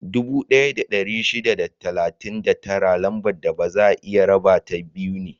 Dubu ɗaya da ɗari shida da talatin da tara Lambar da baza a iya rabata biyu ne.